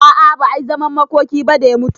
A'a ba ayi zaman makoki ba da ya mutu